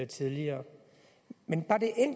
tidligere men